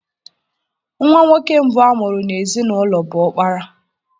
Nwa nwoke mbụ a mụrụ n'ezinaụlọ bụ ọkpara.